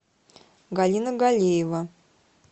галина галеева